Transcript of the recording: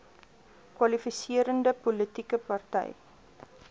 kwalifiserende politieke party